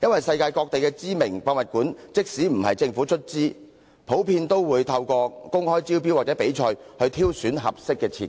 世界各地知名的博物館，即使不是由政府出資，通常也會透過公開招標或比賽挑選合適的設計。